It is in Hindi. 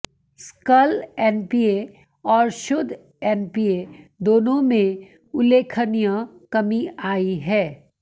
सकल एनपीए और शुद्ध एनपीए दोनों में उल्लेखनीय कमी आई है